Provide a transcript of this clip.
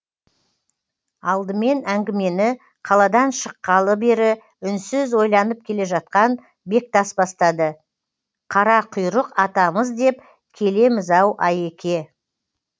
алдымен әңгімені қаладан шыққалы бері үнсіз ойланып келе жатқан бектас бастады қарақұйрық атамыз деп келеміз ау айеке